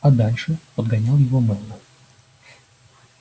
а дальше подгонял его мэллоу